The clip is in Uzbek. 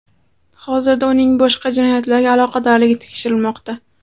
Hozirda uning boshqa jinoyatlarga aloqadorligi tekshirilmoqda.